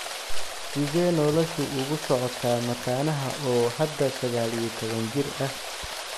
Sidee noloshu ugu socotaa mataanaha oo hadda 19 jir ah?